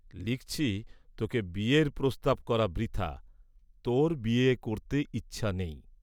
লিখছি, তোকে বিয়ের প্রস্তাব করা বৃথা, তোর বিয়ে করতে ইচ্ছা নেই।